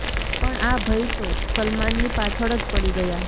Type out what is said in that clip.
પણ આ ભઈ તો સલમાનની પાછળ જ પડી ગયા